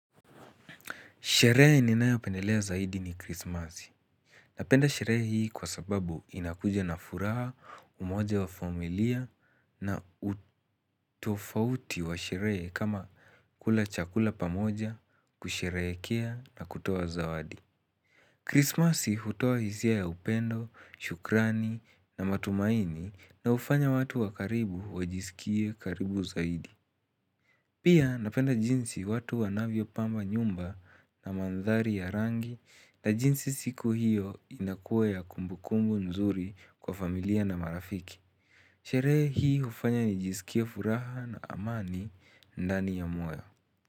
Sherehe ninayopendelea zaidi ni krismasi. Napenda sherehe hii kwa sababu inakuja na furaha umoja wa familia na utofauti wa sherehe kama kula chakula pamoja, kusherehekea na kutoa zawadi. Krismasi hutoa hisia ya upendo, shukrani na matumaini na hufanya watu wa karibu wajisikie karibu zaidi. Pia napenda jinsi watu wanavyo pamba nyumba na mandhari ya rangi na jinsi siku hiyo inakua ya kumbukumbu nzuri kwa familia na marafiki. Sherehe hii hufanya nijisikie furaha na amani ndani ya moyo.